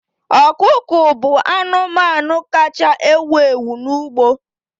Ọkụkọ bụ anụmanụ kacha ewu ewu n'ugbo.